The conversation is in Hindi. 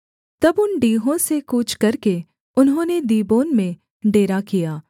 तब उन डीहों से कूच करके उन्होंने दीबोन में डेरा किया